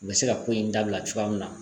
U bɛ se ka ko in dabila cogoya min na